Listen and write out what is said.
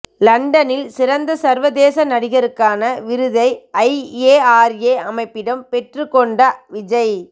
லண்டனில் சிறந்த சர்வதேச நடிகருக்கான விருதை ஐஏஆர்எ அமைப்பிடம் பெற்றுக் கொண்ட விஜய்